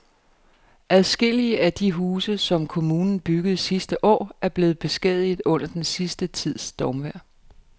Adskillige af de huse, som kommunen byggede sidste år, er blevet beskadiget under den sidste tids stormvejr.